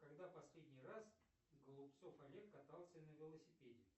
когда последний раз голубцов олег катался на велосипеде